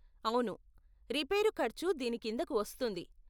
అవును, రిపేరు ఖర్చు దీని కిందకు వస్తుంది.